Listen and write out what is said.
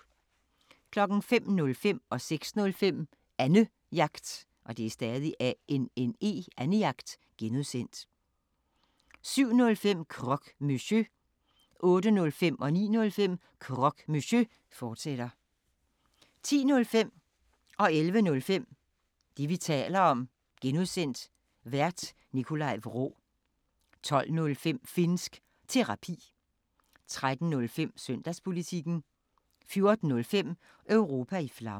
05:05: Annejagt (G) 06:05: Annejagt (G) 07:05: Croque Monsieur 08:05: Croque Monsieur, fortsat 09:05: Croque Monsieur, fortsat 10:05: Det, vi taler om (G) Vært: Nikolaj Vraa 11:05: Det, vi taler om (G) Vært: Nikolaj Vraa 12:05: Finnsk Terapi 13:05: Søndagspolitikken 14:05: Europa i Flammer